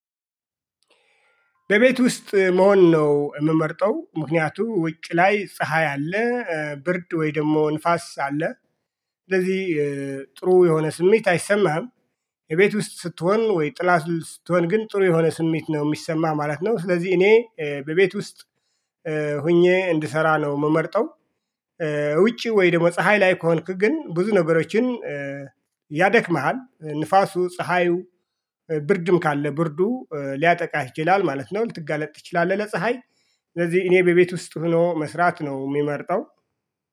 በቤት ውስጥ መሆን ነው የምመርጠው ምክንያቱም ውጭ ላይ ፀሀይ አለ ብርድ ወይ ደግሞ ንፋስ አለ ስለዚህ ጥሩ የሆነ ስሜት አይሰማህም እቤት ውስጥ ስትሆን ወይ ጥላ ውስጥ ስትሆን ግን ጥሩ የሆነ ስሜት ነው የሚሰማህ ማለት ነው ስለዚህ እኔ በቤት ውስጥ ሆኜ እንድሰራ ነው የምመርጠው ውጪ ወይ ደግሞ ፀሀይ ላይ ከሆንክ ግን ብዙ ነገሮችን ያደክምሃል ንፋሱ ፀሀዩ ብርድም ካለ ብርዱ ሊያጠቃህ ይችላል ማለት ነው ልትጋለጥ ትችላለህ ለፀሀይ ስለዚህ እኔ በቤት ውስጥ ሆኖ መስራት ነው የሚመርጠው።